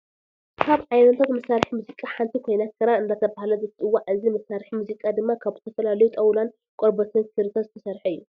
ካብ ዓይነታት መሳሪሒ ሙዚቃ ሓንቲ ኮይና ክራር እንዳተባሃለት ትፅዋዕ እዚ መሳሪሒት ሙዚቃ ድማ ካብ ዝተፈላለዩ ጣውላን ቆርበትን ክሪታት ዝተሰረሐት እዩ።